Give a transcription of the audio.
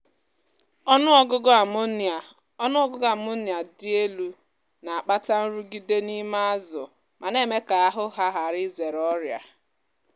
ọnụ ọgụgụ ammonia ọnụ ọgụgụ ammonia dị elu na-akpata nrụgide n’ime azụ ma na-eme ka ahụ há ghara izèrè ọrịa.